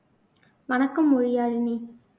வணக்கம் மொழியாழினி